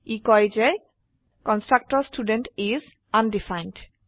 ই কয় যে constructor student is undefined